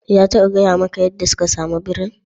Ya taɓa gaya maka yadda suka samu birin?